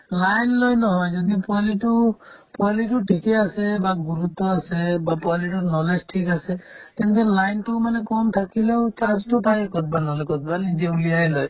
line লৈ নহয় যদি পোৱালিতো পোৱালিতোৰ আছে বা গুৰুত্ব আছে বা পোৱালিতোৰ knowledge ঠিক আছে তেন্তে line তো মানে কম থাকিলেও তাই ক'ৰবাত নহ'লে ক'ৰবাত নিজে উলিয়াই লয়